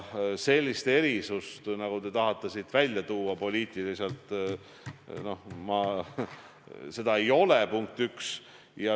Sellist erisust, nagu te tahate siin poliitiliselt välja tuua, ei ole, punkt üks.